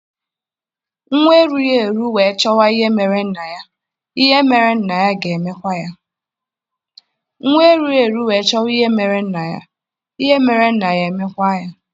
Nwa erughị eru wee chọba ihe mere nna ya, ihe mere nna ya e mekwa ya